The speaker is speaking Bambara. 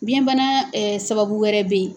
Biyɛnbana sababu wɛrɛ bɛ ye.